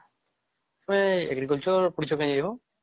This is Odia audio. ତୁମେ Agriculture ପଢ଼ିଛେ କଇଯିବ ?